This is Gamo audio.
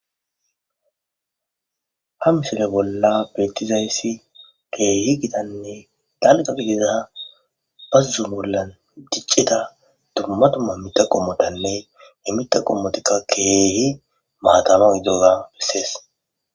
Ha misile bollan betizays kehi gittane daliga gidida bazo bolla dicida duma duma mita qomotanee he mita qomota kehi mata giidogaka beses